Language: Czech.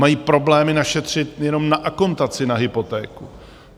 Mají problémy našetřit jenom na akontaci na hypotéku.